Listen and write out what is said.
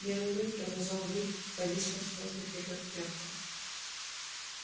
белый клык продолжал выть повиснув в воздухе как тряпка